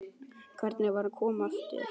Hvernig var að koma aftur?